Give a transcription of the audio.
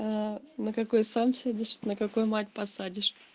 на какой сам сядешь на какой мать посадишь